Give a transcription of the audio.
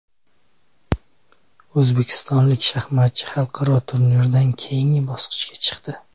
O‘zbekistonlik shaxmatchi xalqaro turnirda keyingi bosqichga chiqdi.